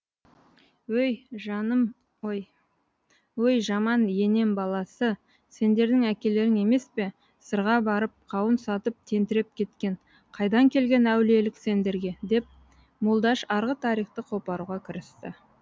өй жаман енембаласы сендердің әкелерің еме пе сырға барып қауын сатып тентіреп кеткен қайдан келген әулиелік сендерге деп молдаш арғы тарихты қопаруға кірісті